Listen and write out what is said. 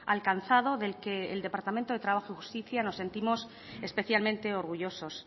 alcanzado del que el departamento de trabajo y justicia nos sentimos especialmente orgullosos